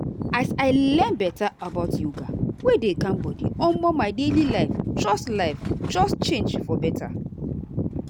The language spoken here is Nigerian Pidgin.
as i learn better about yoga wey dey calm body omo my daily life just life just change for better.